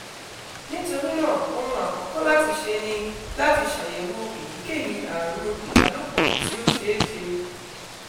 nitorinaa ohun akọkọ lati ṣe ni lati ṣayẹwo eyikeyi arun ibalopọ ti o ṣeeṣe